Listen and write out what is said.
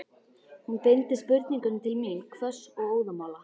Hún beindi spurningunum til mín, hvöss og óðamála.